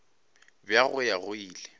bja go ya go ile